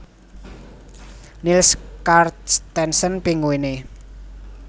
Niels Carstensen Pinguine